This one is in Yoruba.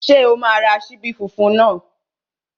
Ṣé o máa ra ṣíbí funfun náà?